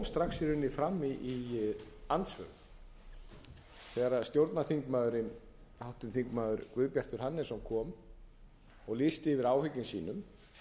strax í rauninni fram í andsvörum þegar stjórnarþingmaðurinn háttvirti þingmenn guðbjartur hannesson kom og lýsti yfir áhyggjum sínum